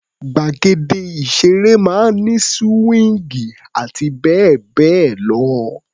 Gbàgede ìṣeré máa ń ní síwíńgì àti bẹ́ẹ̀ bẹ́ẹ̀ lọ.